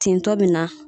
Tentɔ bɛ na